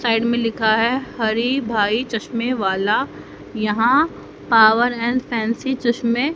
side में लिखा है हरि भाई चश्मे वाला यहां पावर एंड फैंसी चश्मे--